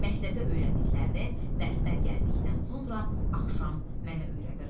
Məktəbdə öyrəndiklərini dərsdən gəldikdən sonra axşam mənə öyrədirdi.